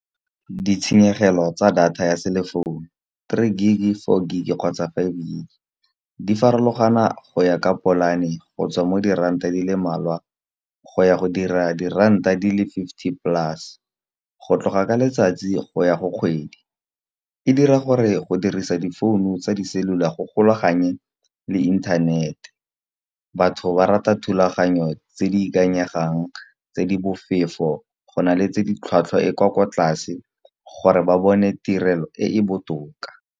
Ditshenyegelo tsa data ya cellphone three gig, four gig kgotsa five gig. Di farologana go ya ka polane go tswa mo diranta di le mmalwa, go ya go dira diranta di le fifty plus, go tloga ka letsatsi go ya go kgwedi. E dira gore go dirisa difounu tsa di cellular go golaganye le inthanete, batho ba rata thulaganyo tse di ikanyegang tse di bofefo. Go na le tse di tlhwatlhwa e kwa kwa tlase gore ba bone tirelo e e botoka.